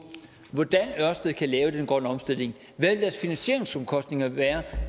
hvordan ørestad kan lave den grønne omstilling hvad deres finansieringsomkostninger vil være